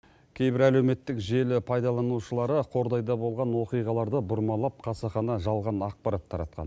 кейбір әлеуметтік желі пайдаланушылары қордайда болған оқиғаларды бұрмалап қасақана жалған ақпарат таратқан